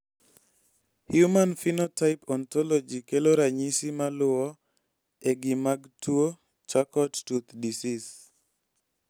Human Phenotype Ontology kelo ranyisi maluo e gi mag tuo Charcot tooth disease